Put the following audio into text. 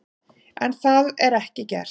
En það var ekki gert.